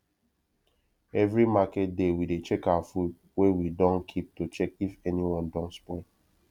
every market day we dey check our food wey we dun keep to check if anyone don spoil